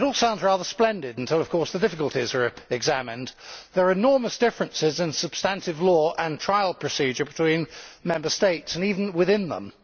It all sounds rather splendid until, of course, the difficulties are examined. There are enormous differences in substantive law and trial procedure between Member States, and even within them.